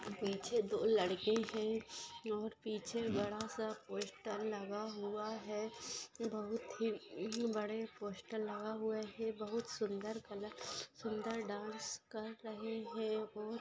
पीछे दो लड़के है अम और पीछे बड़ा सा पोस्टर लगा हुआ है बहुत ही अम बड़े पोस्टर लगा हुए है बहुत सुंदर कलर सुंदर डांस कर रहे है और--